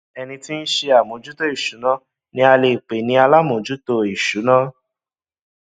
ẹni tí ń ṣe àmójútó ìsúná ni a lè pè ní alámòójútó ìsúná